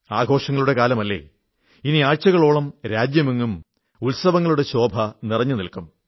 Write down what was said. ആഘോഷങ്ങളുടെ കാലമല്ലേ ഇനി ആഴ്ചകളോളം രാജ്യമെങ്ങും ഉത്സവങ്ങളുടെ ശോഭ നിറഞ്ഞനില്ക്കും